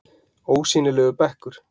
Ósýnilegur bekkur?